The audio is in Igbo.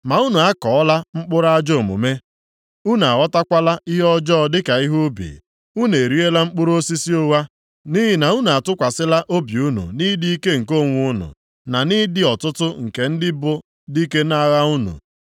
Ma unu akụọla mkpụrụ ajọ omume; unu aghọtakwala ihe ọjọọ dịka ihe ubi. Unu eriela mkpụrụ osisi ụgha. Nʼihi na unu atụkwasịla obi unu nʼịdị ike nke onwe unu, na nʼịdị ọtụtụ nke ndị bụ dike nʼagha unu.